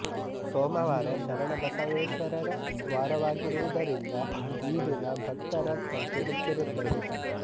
ಸೋಮವಾರ ಶರಣಬಸವೇಶ್ವರರ ವಾರವಾಗಿರುವುದರಿಂದ ಈ ದಿನ ಭಕ್ತರ ಸಂಖ್ಯೆ ಹೆಚ್ಚಿರುತ್ತದೆ